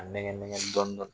A nɛgɛn nɛgɛn dɔɔni